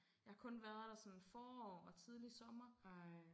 Jeg har kun været der sådan forår og tidlig sommer